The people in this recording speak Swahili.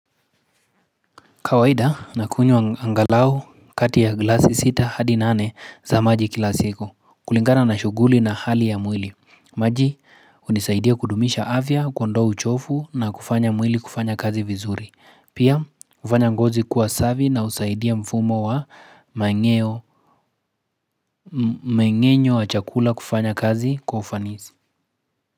Kawaida nakunywa angalau kati ya glasi sita hadi nane za maji kila siku kulingana na shuguli na hali ya mwili. Maji hunisaidia kudumisha afya, kuondao uchofu na kufanya mwili kufanya kazi vizuri. Pia hufanya ngozi kuwa safi na husaidia mfumo wa mang'eo, mmng'enyo wa chakula kufanya kazi kwa ufanisi.